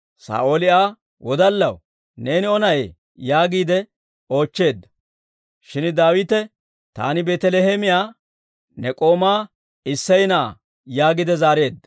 Saa'ooli Aa, «Wodallaw, neeni O na'ee?» yaagiide oochcheedda. Shin Daawite, «Taani Beetaliheemiyaa ne k'oomaa Isseya na'aa» yaagiide zaareedda.